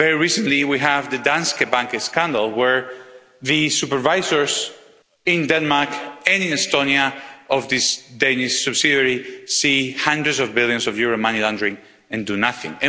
Very recently, we had the Danske Bank scandal where the supervisors in Denmark and in Estonia of this Danish subsidiary see hundreds of billions of euro money laundering and do nothing.